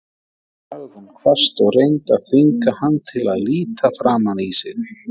sagði hún hvasst og reyndi að þvinga hann til að líta framan í sig.